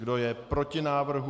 Kdo je proti návrhu?